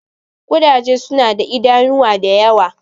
Ƙudaje suna da idanuwa da yawa.